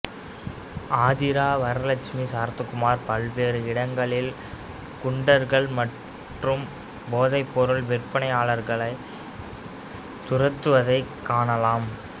ஆதிரா வரலக்ஷ்மி சரத்குமார் பல்வேறு இடங்களில் குண்டர்கள் மற்றும் போதைப்பொருள் விற்பனையாளர்களைத் துரத்துவதைக் காணலாம்